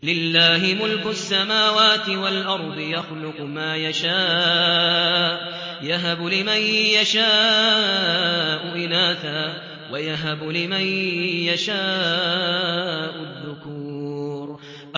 لِّلَّهِ مُلْكُ السَّمَاوَاتِ وَالْأَرْضِ ۚ يَخْلُقُ مَا يَشَاءُ ۚ يَهَبُ لِمَن يَشَاءُ إِنَاثًا وَيَهَبُ لِمَن يَشَاءُ الذُّكُورَ